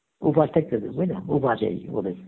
উপাস থাকতে হবে বুজলে উপাসেই ওদের